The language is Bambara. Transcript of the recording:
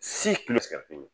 Si kun bɛ sigɛrɛti mi